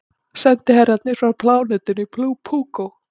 Sendiherrarnir frá plánetunni Púkó.